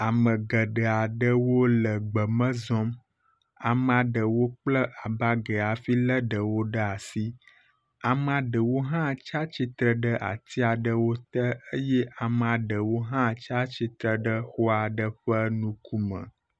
Ame geɖe aɖewo le gbe me zɔm. Amea ɖewo kple abagi hafi lé ɖewo ɖe asi. Amea ɖewo hã tsia tsitre ati ɖewo te eye amea ɖewo hã tsia tsitre ɖe xɔa ɖe ƒe ŋkume.